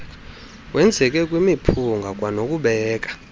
wenzeke kwimiphunga kwanokubeka